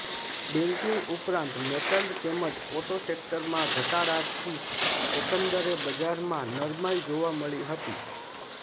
banking ઉપરાંત metal તેમજ auto સેક્ટરમાં ઘટાડાથી એકંદરે બજારમાં નરમાઈ જોવા મળી હતી